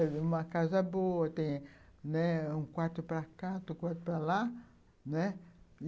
É uma casa boa, tem, né, um quarto para cá, um quarto para lá, né?